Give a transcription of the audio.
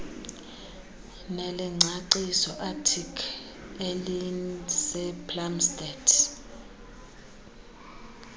nelengcaciso aticc eliseplumstead